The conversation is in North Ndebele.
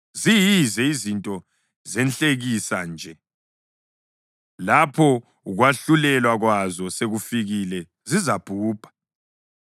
Ziyize, izinto zenhlekisa nje, lapho ukwahlulelwa kwazo sekufikile, zizabhubha.